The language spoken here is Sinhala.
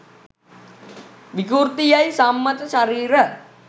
විකෘති යයි සම්මත ශරීර